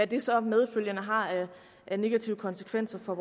det så medfølgende har af negative konsekvenser for